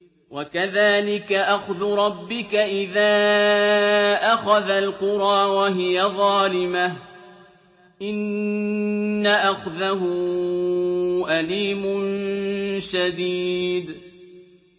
وَكَذَٰلِكَ أَخْذُ رَبِّكَ إِذَا أَخَذَ الْقُرَىٰ وَهِيَ ظَالِمَةٌ ۚ إِنَّ أَخْذَهُ أَلِيمٌ شَدِيدٌ